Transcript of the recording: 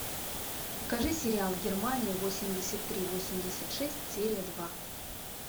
покажи сериал германия восемьдесят три восемьдесят шесть серия два